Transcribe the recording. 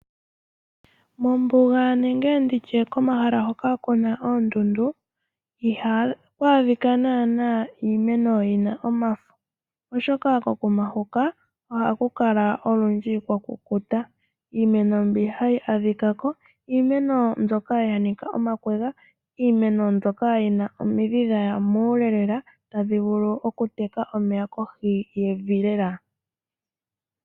Mombuga nenge nditye komahala hoka kuna oondundu, ihaku adhika nana iimeno yina omafo, oshoka konima huka ohaku kala olundji kwakukuta. Iimeno mbyoka hayi adhikako iimeno mbyoka yanika omakwega, iimeno mbyoka yina omidhi dhaya muule lela tadhi vulu okuteka omeya kohi yevi lela.